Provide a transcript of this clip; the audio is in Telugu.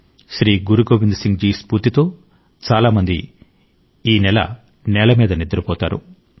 శ్రీ గురు గోవింద్ సింగ్ జి స్ఫూర్తితో చాలా మంది ఈ నెల నేలమీద నిద్రపోతారు